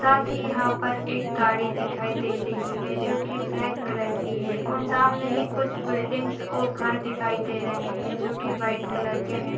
साथ ही यहाँ पर एक गाड़ी दिखाई दे रही है जो की ब्लैक कलर की है और सामने ही कुछ बिल्डिंग्स और घर दिखाई दे रहे हैं जो की व्हाइट कलर के हैं।